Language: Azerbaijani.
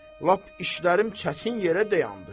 Lap işlərim çətin yerə dayandı.